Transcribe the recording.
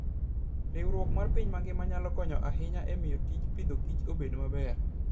Riwruok mar piny mangima nyalo konyo ahinya e miyo tij Agriculture and Foodobed maber.